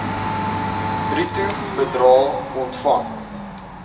bruto bedrae ontvang